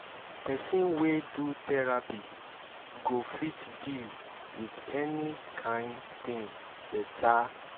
pesin wey do therapy go fit deal wit any kain pain beta